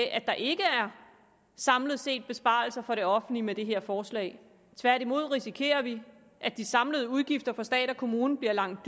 at der ikke samlet set er besparelser for det offentlige med det her forslag tværtimod risikerer vi at de samlede udgifter for stat og kommune bliver langt